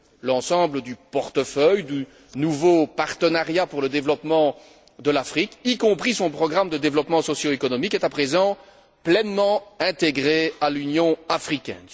L'ensemble du portefeuille du nouveau partenariat pour le développement de l'Afrique, y compris son programme de développement socio économique, est à présent pleinement intégré à l'Union africaine.